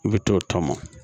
I bɛ t'o tɔmɔ